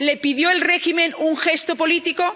¿Le pidió el régimen un gesto político?